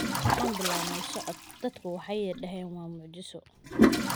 Waxaan bilownay socod, dadku waxay yiraahdeen waa mucjiso.